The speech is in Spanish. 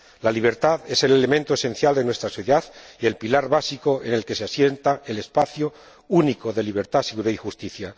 La libertad es el elemento esencial de nuestra sociedad y el pilar básico en el que se asienta el espacio único de libertad, seguridad y justicia.